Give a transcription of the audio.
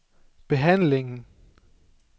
behandlingen